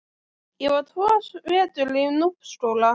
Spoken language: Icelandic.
Ég var tvo vetur í Núpsskóla.